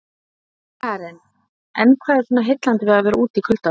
Karen: En hvað er svona heillandi við að vera úti í kuldanum?